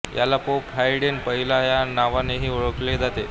याला Pope Hadrian पहिला या नावानेही ओळखले जाते